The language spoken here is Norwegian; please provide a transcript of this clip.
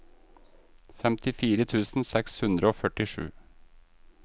femtifire tusen seks hundre og førtisju